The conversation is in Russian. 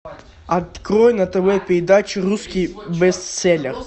открой на тв передачу русский бестселлер